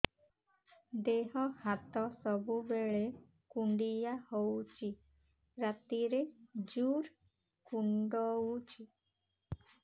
ଦେହ ହାତ ସବୁବେଳେ କୁଣ୍ଡିଆ ହଉଚି ରାତିରେ ଜୁର୍ କୁଣ୍ଡଉଚି